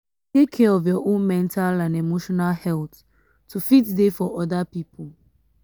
take care of your own mental and emotional health to fit dey for other pipo